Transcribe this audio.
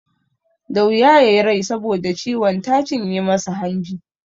Da wuya ya yi rai saboda ciwon ta cinye masa hanji.